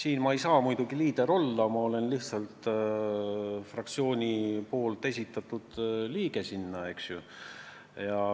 Mina ei saa siin muidugi liider olla, mind on lihtsalt fraktsioon nõukogu liikmeks esitanud.